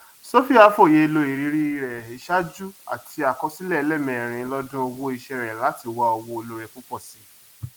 sophia fòye ló iìrírí rẹ ìṣáájú àti àkọsílẹ ẹlẹẹmẹrin lọdún owó iṣẹ rẹ láti wá òwò olóore púpọ si